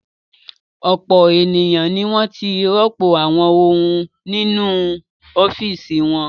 Ọ̀pọ̀ ènìyàn ni wọ́n ti rọ́pò àwọn ohun nínú ọ́fíísì wọn.